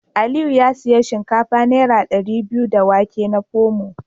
Aliyu ya sayi shinkafa naira dari biyu da wake da Pomo.